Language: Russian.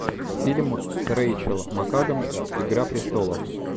фильм с рэйчел макадамс игра престолов